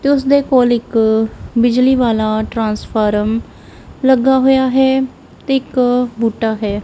ਤੇ ਉਸਦੇ ਕੋਲ ਇੱਕ ਬਿਜਲੀ ਵਾਲਾ ਟ੍ਰਾਂਸਫਾਰਮ ਲੱਗਾ ਹੋਇਆ ਹੈ ਤੇ ਇੱਕ ਬੂਟਾ ਹੈ।